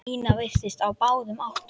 Nína virtist á báðum áttum.